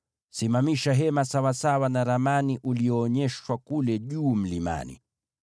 “Simamisha Hema sawasawa na mfano ulioonyeshwa kule mlimani.